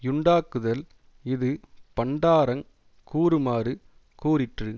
யுண்டாக்குதல் இது பண்டாரங் கூறுமாறு கூறிற்று